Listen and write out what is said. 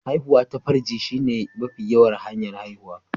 Haihuwa ta farji shine mafi yawan hanya'n haihuwa.